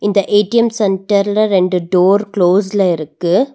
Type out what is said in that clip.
இந்த ஏ_டி_எம் சென்ட்டர்ல ரெண்டு டோர் க்ளோஸ்ல இருக்கு.